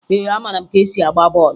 Ee, amara m ka e si agba bọọlụ